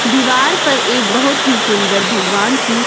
दीवार पर एक बहोत ही सुंदर भगवान की--